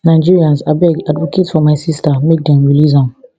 nigerians abeg advocate for my sista make dem release am